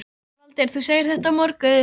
ÞORVALDUR: Þú segir þetta á morgun?